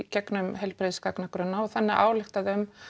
gegnum heilbrigðisgagnagrunna og þannig ályktað